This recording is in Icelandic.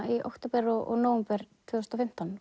í október og nóvember tvö þúsund og fimmtán